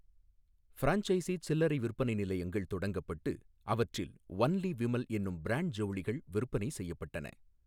Franchisee சில்லறை விற்பனை நிலையங்கள் தொடங்கப்பட்டு, அவற்றில் "ஒன்லி விமல்" என்னும் பிராண்ட் ஜவுளிகள் விற்பனை செய்யப்பட்டன.